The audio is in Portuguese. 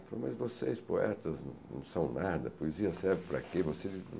Ele falou, mas vocês poetas não são nada, poesia serve para quê?